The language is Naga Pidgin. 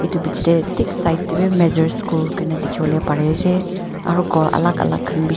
etu biche tey tek side tehbi Mehzur school koi kena dikhe bai ase aro ghor alak alak khan bishe.